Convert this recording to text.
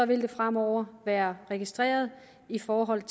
det fremover være registreret i forhold